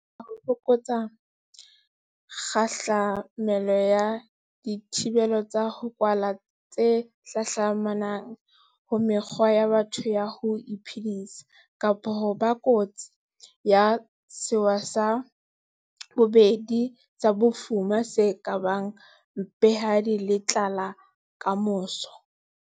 Re ile ra batla ho fokotsa kgahla melo ya dithibelo tsa ho kwala tse hlahlamanang ho mekgwa ya batho ya ho iphedisa, kapa ho ba kotsing ya sewa sa bobedi sa bofuma se ka bang mpehadi le tlala kamoso.